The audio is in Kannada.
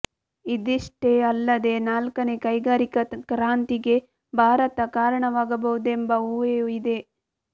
ಇದಿಷ್ಟೇ ಅಲ್ಲದೇ ನಾಲ್ಕನೇ ಕೈಗಾರಿಕಾ ಕ್ರಾಂತಿಗೆ ಭಾರತ ಕಾರಣವಾಗಬಹುದೆಂಬ ಊಹೆಯೂ ಇದೆ